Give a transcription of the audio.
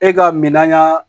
E ka minan